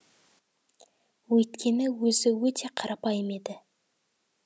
өйткені өзі өте қарапайым еді